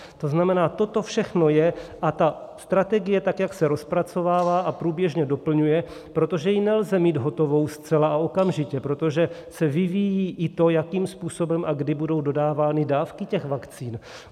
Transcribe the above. To znamená, toto všechno je a ta strategie, tak jak se rozpracovává a průběžně doplňuje, protože ji nelze mít hotovou zcela a okamžitě, protože se vyvíjí i to, jakým způsobem a kdy budou dodávány dávky těch vakcín.